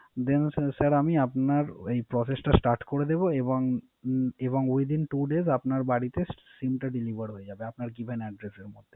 Then Sir আমি আপনার Process টা Start করে দেব এবং Within two days আপনার বাড়িতে SIM টা Delevar হয়ে যাবে আপনার Given Address এর মধ্যে